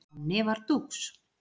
Nonni var dúx.